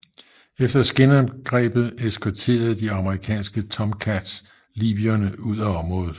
Efter skinangrebet eskorterede de amerikanske Tomcats libyerne ud af området